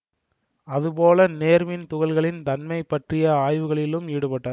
அது போல நேர்மின் துகள்களின் தன்மை பற்றிய ஆய்வுகளிலும் ஈடுபட்டார்